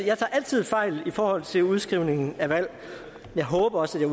jeg tager altid fejl i forhold til udskrivningen af valg og jeg håber også